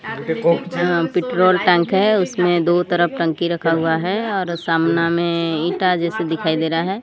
अं petrol tank है उसमें दो तरफ टंकी रखा हुआ है और सामना में इंटा जैसे दिखाई दे रहा है।